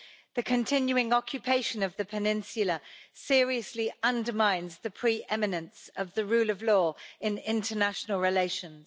The continuing occupation of the peninsula seriously undermines the pre-eminence of the rule of law in international relations.